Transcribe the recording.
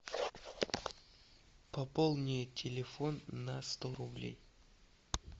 пополни телефон на сто рублей